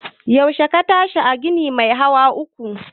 Yaushe ka tashi daga ginin mai hawa uku?